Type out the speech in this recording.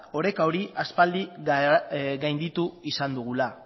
oreka hori aspaldi gainditu izan dugula